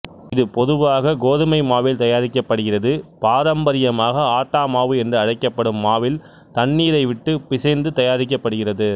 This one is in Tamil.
இது பொதுவாக கோதுமை மாவில் தயாரிக்கப்படுகிறது பாரம்பரியமாக ஆட்டா மாவு என்று அழைக்கப்படும் மாவில் தண்ணீரை விட்டு பிசைந்து தயாரிக்கப்படுகிறது